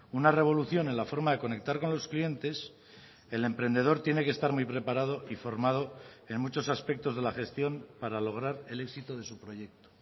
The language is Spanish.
una revolución en la forma de conectar con los clientes el emprendedor tiene que estar muy preparado y formado en muchos aspectos de la gestión para lograr el éxito de su proyecto